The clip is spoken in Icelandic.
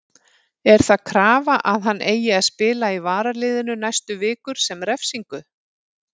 Er það krafa að hann eigi að spila í varaliðinu næstu vikur sem refsingu?